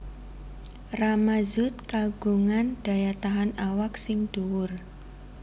Rama Zoet kagungan daya tahan awak sing dhuwur